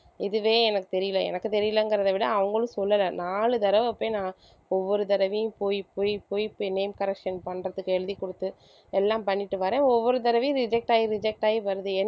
இதுவே எனக்கு தெரியல எனக்கு தெரியலங்கிறத விட அவங்களும் சொல்லல நாலு தடவ போய் நான் ஒவ்வொரு தடவையும் போய் போய் போய் போய் name correction பண்றதுக்கு எழுதி குடுத்து எல்லாம் பண்ணிட்டு வரேன் ஒவ்வொரு தடவையும் reject ஆகி reject ஆகி வருது.